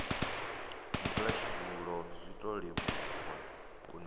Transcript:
mudzulatshidulo zwiṱo leluwa u nea